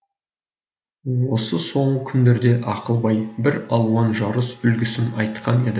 осы соңғы күндерде ақылбай бір алуан жарыс үлгісін айтқан еді